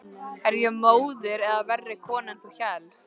Er ég móðir eða verri kona en þú hélst?